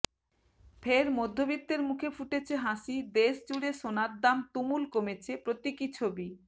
ফের মধ্যবিত্তের মুখে ফুটেছে হাসি দেশজুড়ে সোনার দাম তুমুল কমেছে প্রতীকী ছবি